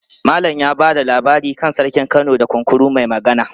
Malam ya ba da labari kan Sarkin Kano da Kunkuru mai Magana.